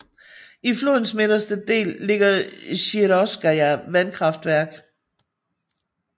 I flodens midterste dele ligger Sjirokovskaja vandkraftværk